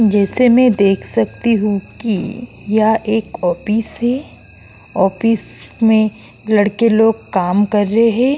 जैसा मैं देख सकती हूं की यह एक ऑफिस है ऑफिस में लड़के लोग काम कर रहे हैं।